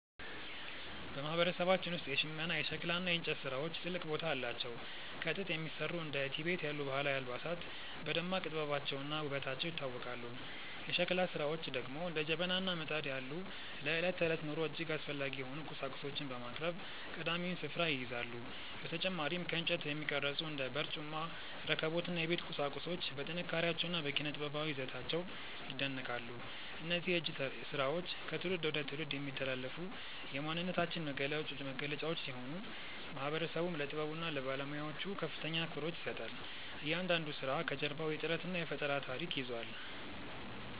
በማህበረሰባችን ውስጥ የሽመና፣ የሸክላ እና የእንጨት ስራዎች ትልቅ ቦታ አላቸው። ከጥጥ የሚሰሩ እንደ ቲቤት ያሉ ባህላዊ አልባሳት በደማቅ ጥበባቸውና ውበታቸው ይታወቃሉ። የሸክላ ስራዎች ደግሞ እንደ ጀበና እና ምጣድ ያሉ ለዕለት ተዕለት ኑሮ እጅግ አስፈላጊ የሆኑ ቁሳቁሶችን በማቅረብ ቀዳሚውን ስፍራ ይይዛሉ። በተጨማሪም ከእንጨት የሚቀረጹ እንደ በርጩማ፣ ረከቦት እና የቤት ቁሳቁሶች በጥንካሬያቸውና በኪነ-ጥበባዊ ይዘታቸው ይደነቃሉ። እነዚህ የእጅ ስራዎች ከትውልድ ወደ ትውልድ የሚተላለፉ የማንነታችን መገለጫዎች ሲሆኑ፣ ማህበረሰቡም ለጥበቡና ለባለሙያዎቹ ከፍተኛ አክብሮት ይሰጣል። እያንዳንዱ ስራ ከጀርባው የጥረትና የፈጠራ ታሪክ ይዟል።